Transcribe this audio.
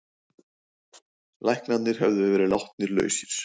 Læknarnir höfðu verið látnir lausir.